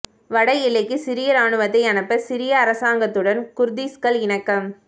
வட எல்லைக்கு சிரிய இராணுவத்தை அனுப்ப சிரிய அரசாங்கத்துடன் குர்திஷ்கள் இணக்கம்